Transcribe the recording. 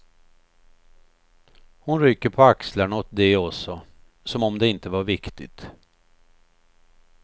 Hon rycker på axlarna åt det också, som om det inte var viktigt.